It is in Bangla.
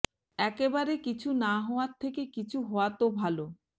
একেবারে কিছু না হওয়ার থেকে কিছু হওয়া তো ভাল